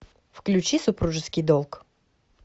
включи супружеский долг